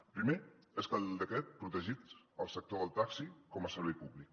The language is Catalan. el primer és que el decret protegís el sector del taxi com a servei públic